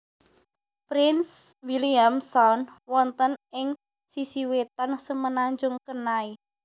Prince William Sound wonten ing sisi wetan Semenanjung Kenai